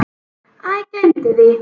Æ, gleymdu því.